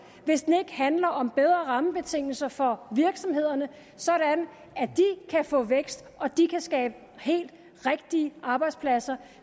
hvis den ikke handler om bedre rammebetingelser for virksomhederne sådan at de kan få vækst og at de kan skabe helt rigtige arbejdspladser